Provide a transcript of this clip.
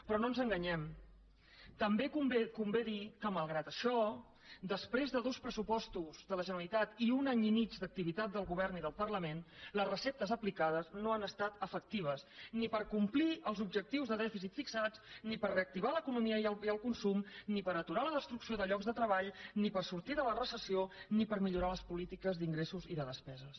però no ens enganyem també convé dir que malgrat això després de dos pressupostos de la generalitat i un any i mig d’ac tivitat del govern i del parlament les receptes aplicades no han estat efectives ni per complir els objectius de dèficit fixats ni per reactivar l’economia i el consum ni per aturar la destrucció de llocs de treball ni per sortir de la recessió ni per millorar les polítiques d’ingressos i de despeses